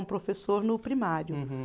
Um professor no primário. Uhum.